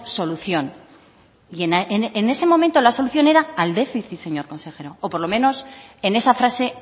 solución y en ese momento la solución era al déficit señor consejero o por lo menos en esa frase